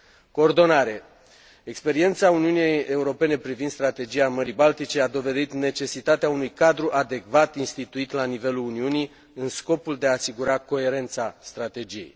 Coordonare experiența Uniunii Europene privind Strategia Mării Baltice a dovedit necesitatea unui cadru adecvat instituit la nivelul Uniunii în scopul de a asigura coerența strategiei.